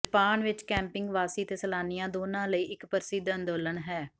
Japan ਵਿਚ camping ਵਾਸੀ ਅਤੇ ਸੈਲਾਨੀਆਂ ਦੋਨਾਂ ਲਈ ਇਕ ਪ੍ਰਸਿੱਧ ਅੰਦੋਲਨ ਹੈ